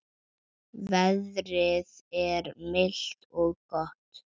Veðrið er milt og gott.